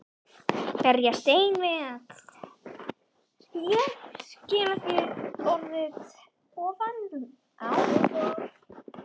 Berjast einn við allt Ísland og Hamborg í ofanálag?